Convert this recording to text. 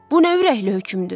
Bu nə ürəkli hökümdür?